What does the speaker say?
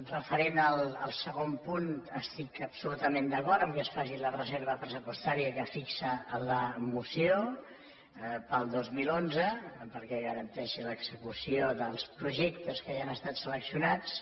referent al segon punt estic absolutament d’acord que es faci la reserva pressupostària que fixa la moció per al dos mil onze perquè garanteixi l’execució dels projectes que ja han estat seleccionats